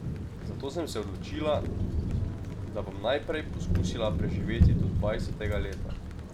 Zato sem se odločila, da bom najprej poskusila preživeti do dvajsetega leta.